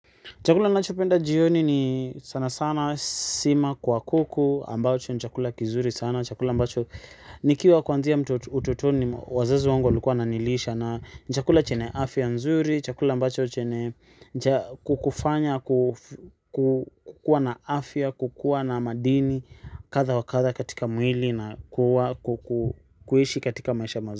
Chakula nachopenda jioni ni sana sana sima kwa kuku ambacho ni chakula kizuri sana. Chakula ambacho nikiwa kuanzia ututoni wazazu wangu walikuwa wananilisha, na chakula chenye afya nzuri, chakula ambacho chenye kukufanya kukuwa na afya, kukuwa na madini kadha wa kadha katika mwili na kuishi katika maisha mazuri.